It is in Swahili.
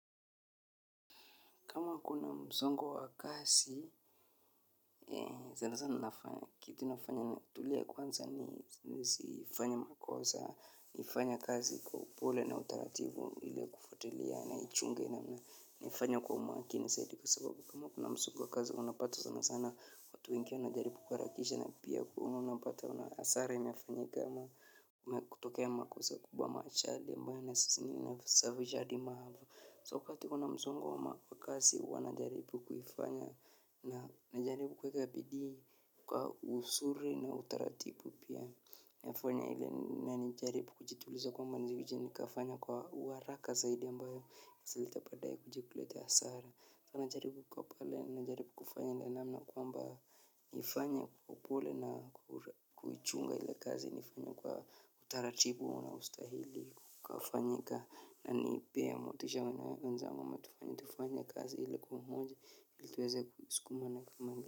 Kuna mzongo wa kazi sana sana nafanya kitu nafanya natulia kwanza ni siifanya makosa nifanye kazi kwa upole na utarativu ili kufuatlia na ichunge na mna nifanya kwa makini saidi kwa sababu kama kuna mzongo wa kazi unapata zana zana watu wiki unajaribu kwa rakisha na pia unapata unasari unafanyekama kutokea makosa kubwa ama achali mbaya na sasini unafisavisha di maha so kati kuna mzongo wa kasi wanajaribu kufanya na najaribu kweka bidii kwa usuri na utaratipu pia nafanya ile na nijaribu kujituliza kwamba nizijuja nikafanya kwa waraka zaidi ambayo kasalita padaya kujikulete asara na najaribu kwa pale na najaribu kufanya ile namna kwamba nifanya kwa pole na kuchunga ile kazi nifanya kwa utaratipu na ustahili kufanya na nipea motisha wana ya unza wama tufani tufani ya kazi ila kumundi iltweza kuskuma na kumangu.